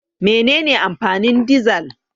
Mene ne amfanin dizal?